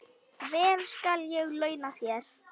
Vel skal ég launa þér.